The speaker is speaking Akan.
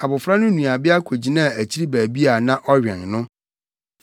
Abofra no nuabea kogyinaa akyiri baabi a na ɔwɛn no.